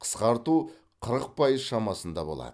қысқарту қырық пайыз шамасында болады